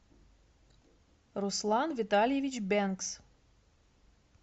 руслан витальевич бенкс